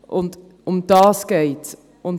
Darum geht es.